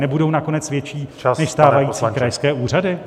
Nebudou nakonec větší než stávající krajské úřady?